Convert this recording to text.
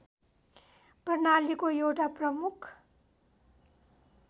प्रणालीको एउटा प्रमुख